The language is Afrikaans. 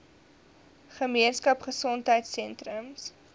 gemeenskap gesondheidsentrum ggs